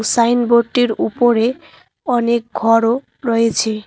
সাইনবোর্ডটির উপরে অনেক ঘরও রয়েছে।